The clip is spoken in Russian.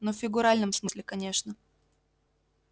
ну в фигуральном смысле конечно